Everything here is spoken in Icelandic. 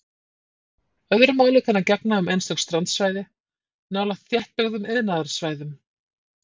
Öðru máli kann að gegna um einstök strandsvæði nálægt þéttbyggðum iðnaðarsvæðum.